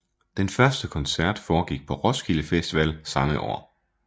Den første koncert foregik på Roskilde Festival samme år